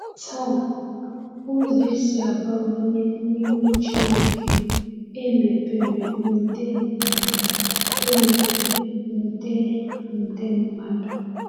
Taa, ụzọ esi abanye n’ihu Chineke emepere nde nde emepere nde nde mmadụ!